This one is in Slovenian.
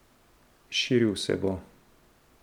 Širil se bo.